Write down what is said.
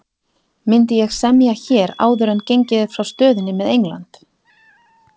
Myndi ég semja hér áður en gengið er frá stöðunni með England?